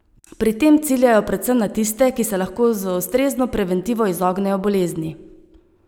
Pri tem ciljajo predvsem na tiste, ki se lahko z ustrezno preventivo izognejo bolezni.